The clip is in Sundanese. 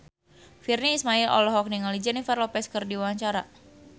Virnie Ismail olohok ningali Jennifer Lopez keur diwawancara